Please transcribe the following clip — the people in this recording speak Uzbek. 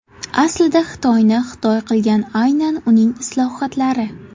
Aslida Xitoyni Xitoy qilgan aynan uning islohotlari.